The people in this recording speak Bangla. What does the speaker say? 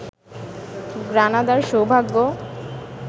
গ্রানাদার সৌভাগ্য